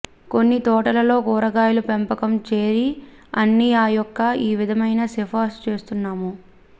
కొన్ని తోటలలో కూరగాయలు పెంపకం చేరి అన్ని ఆ యొక్క ఈ విధమైన సిఫార్సు చేస్తున్నాము